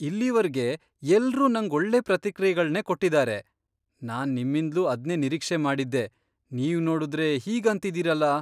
ಇಲ್ಲಿವರ್ಗೆ ಎಲ್ರೂ ನಂಗ್ ಒಳ್ಳೆ ಪ್ರತಿಕ್ರಿಯೆಗಳ್ನೇ ಕೊಟ್ಟಿದಾರೆ, ನಾನ್ ನಿಮ್ಮಿಂದ್ಲೂ ಅದ್ನೇ ನಿರೀಕ್ಷೆ ಮಾಡಿದ್ದೆ, ನೀವ್ ನೋಡುದ್ರೆ ಹೀಗಂತಿದೀರಲ!